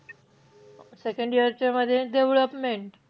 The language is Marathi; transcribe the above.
Second year चे म्हणजे development.